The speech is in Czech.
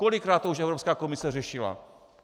Kolikrát to už Evropská komise řešila?